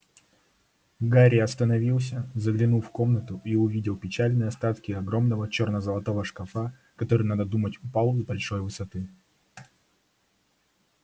гарри остановился заглянул в комнату и увидел печальные остатки огромного черно-золотого шкафа который надо думать упал с большой высоты